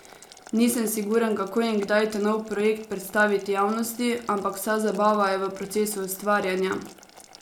Nisem siguren kako in kdaj ta nov projekt predstaviti javnosti, ampak vsa zabava je v procesu ustvarjanja!